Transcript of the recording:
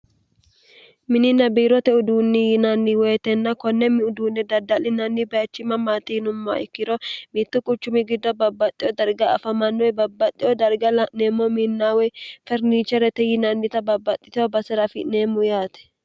mini nabiirote uduunni yinanni woyitenna konnemmi uduunne dadda'linanni baichima maaxiinummo ikkiro miittu quchumi gidda babbaxxeo darga afamannoe babbaxxeo darga la'neemmo minnaawe ferniche rete yinannita babbaxxiteho basera afi'neemmu yaate